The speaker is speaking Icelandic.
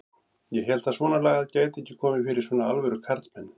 Ég hélt að svonalagað gæti ekki komið fyrir svona alvöru karlmenn.